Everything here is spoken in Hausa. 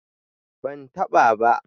ban ta ba ba